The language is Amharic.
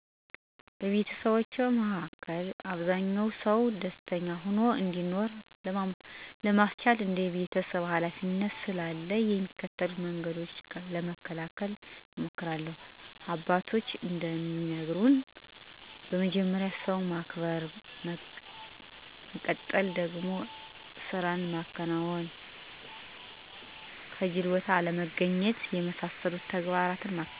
በቤተሰባችን መሀከ አብዛኛ ሰው ደስተኛ ሆኖ እንዲኖር ለማስቻል እንደ ቤተሰብ ሀላፊነት ስላለ የሚከተሉትን መንገዶች ለመከተል እንሞክሪለን፦ አባቶችም እንደሚነግሩን በመጀመሪያ ሰውን ማክበር ነው፤ በመቀጠል ደግሞ ስራን ማከናወን፥ ከጂል ቦታ አለመገኘት፣ ምክር መስጠት፣ በተረትና ምሳሌ ቤተሰብን ማስተማር፣ የደስተኛ ሰው ሂወትን ምሳሌ አድርጎ በማቅረብ ቤተሰብ እንዲማሩ ማድረግ፣ ደግነት የደስታ ምንጭ ስለሆነ፥ የደግ ሰው ሂወትን በማስተማር ደግ እንዲሆኑ ማድረግ፥ ከጂል ባልንጀራ ጋር እንዳይወጃጁ ማድረግ፣ በቀላል ነገሮች እንዲደሰቱ ማለማመድ፣ ከጨቅላነታቸው ጀምሮ ሳቅና ጨዋታን በቀልድ፥ ተረትና ምሳሌ በማዋዛት ማሳደግ ይገባ። እንዲሁም የሂወት ዘይቤ በማስተማር ምግባር የተላበሰ ሂወት እንዲኖሩ ማድረግ ከሁሉም በላይ ልጆችን ክፉ ሰው እንዳይሆኑና ሰውን እንዳይበድሉ ማስተማር ተገቢ ነው።